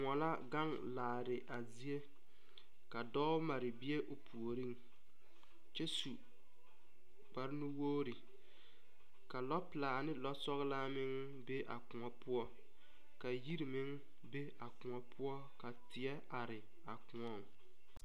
Koɔ la gaŋ laare a zie ka dɔɔ mare bie o puoriŋ kyɛ su kpare nu wogre ka lɔ pilaa ne lɔ sɔglaa meŋ be a koɔ poɔ ka yiri meŋ be a koɔ poɔ ka teɛ are a koɔŋ.